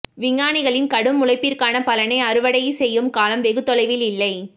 விஞ்ஞானிகளின் கடும் உழைப்பிற்கான பலனை அறுவடை செய்யும் காலம் வெகுதொலைவில் இல்லை